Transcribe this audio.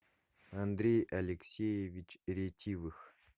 андрей алексеевич ретивых